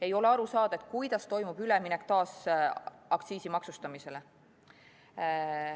Ei ole aru saada, kuidas toimub üleminek taas aktsiisi kehtestamisele.